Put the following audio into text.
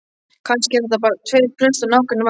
Kannski eru þetta bara tveir prestar á nágranna vakt.